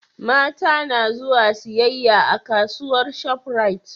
mata na zuwa siyayya a kasuwar shop rite